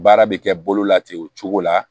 Baara bɛ kɛ bolo la ten o cogo la